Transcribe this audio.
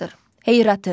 Heyratı.